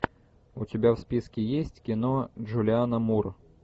у тебя в списке есть кино джулианна мур